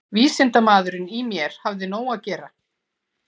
Vísindamaðurinn í mér hafði nóg að gera.